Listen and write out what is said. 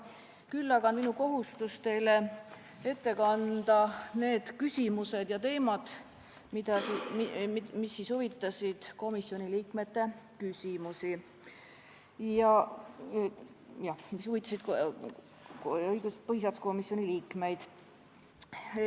Küll aga on minu kohustus teile ette kanda need küsimused ja teemad, mis huvitasid põhiseaduskomisjoni liikmeid.